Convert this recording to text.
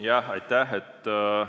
Jah, aitäh!